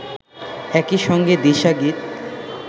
একই সঙ্গে দিশা গীত